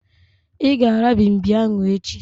I ga-ara mgbimgbi ahu echi